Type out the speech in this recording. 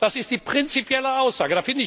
Das ist die prinzipielle Aussage.